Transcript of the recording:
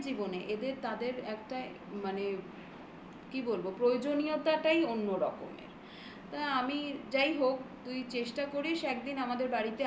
প্রত্যেকের জীবনে এদের তাদের একটা মানে কি বলবো? প্রয়োজনীয়তাটাই অন্য রকমের তা আমি যাই হোক তুই চেষ্টা করিস একদিন